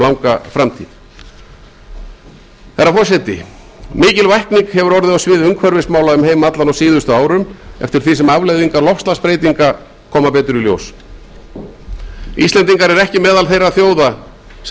langa framtíð herra forseti mikil vakning hefur orðið á sviði umhverfismála um heim allan á síðustu árum eftir því sem afleiðingar loftslagsbreytinga koma betur í ljós íslendingar eru ekki meðal þeirra þjóða sem